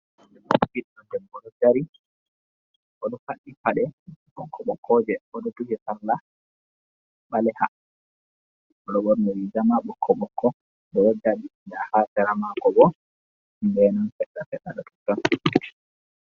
Ɓidɗo debbo ɗo dari oɗo faddi pade ɓoƙko-ɓoƙko je, bo oɗo duhi sallah ɓaleha bo oɗo ɓorni riga ɓoƙko-ɓoƙko oɗo dari nda ha sera mako ɗo genun seɗɗa-seɗɗa.